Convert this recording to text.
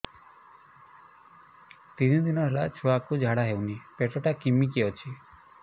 ତିନି ଦିନ ହେଲା ଛୁଆକୁ ଝାଡ଼ା ହଉନି ପେଟ ଟା କିମି କି ଅଛି